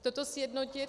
- toto sjednotit.